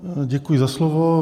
Děkuji za slovo.